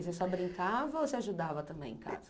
Você só brincava ou você ajudava também em casa?